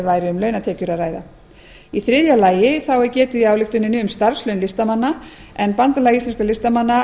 væri um launatekjur að ræða í þriðja lagi þá er getið í ályktuninni um starfslaun listamanna en bandalag íslenskra listamanna